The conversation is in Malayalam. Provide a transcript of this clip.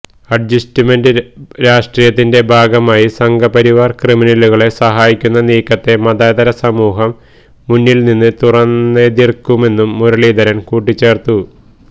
അഡ്ജസ്റ്റ്മെന്റ് രാഷ്ട്രീയത്തിന്റെ ഭാഗമായി സംഘപരിവാര് ക്രിമിനലുകളെ സഹായിക്കുന്ന നീക്കത്തെ മതേതര സമൂഹം മുന്നില് നിന്ന് തുറന്നെതിര്ക്കുമെന്നും മുരളീധരന് കൂട്ടിച്ചേര്ത്തു